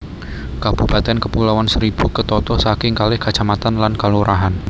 Kabupatèn Kepulauan Seribu ketata saking kalih kacamatan lan kalurahan